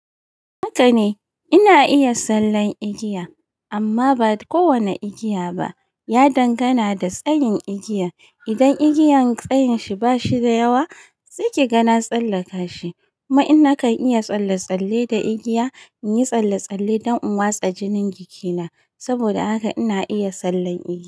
Haka ne, ina iya sallan igiya amma ba kowane igiya ba. Ya dangana da tsayin igiya. Idan igiyan tsayin shi ba shi da yawa, saiki ga na tsallaka shi. Kuma in naka iya tsalle-tsalle da igiya, in yi tsalle-tsalle don in watsa jinin jikina. Saboda haka ina iya sallan igiya.